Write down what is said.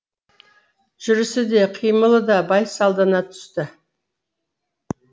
жүрісі де қимылы да байсалдана түсті